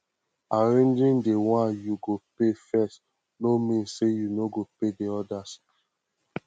arranging the one yu go pay first no mean say yu no go pay odas